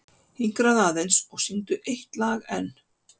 Hinkraðu aðeins og syngdu eitt lag enn.